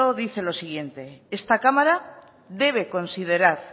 dice lo siguiente esta cámara debe considerar